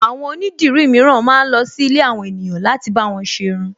Àwọn onídirí mìíràn ma ń lọ sí ilé àwọn ènìyàn láti bá wọn ṣ'erun